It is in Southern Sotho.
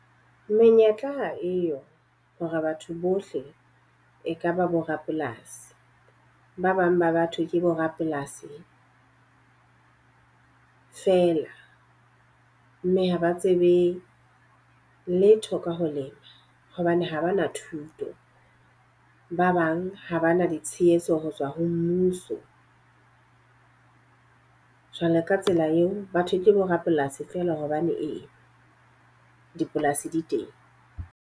Menyetla ha eyo hore batho bohle e ka ba borapolasi. Ba bang ba batho ke bo rapolasi feela mme haba tsebe letho ka ho lema hobane ha ba na thuto. Ba bang ha ba na le tshehetso ho tswa ho mmuso, jwalo ka tsela eo batho ke bo rapolasi feela hobaneng dipolasi di teng.